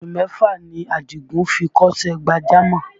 Oṣù mẹ́fà ni Àdìgún fi kọ́ṣẹ́ gbàjámọ̀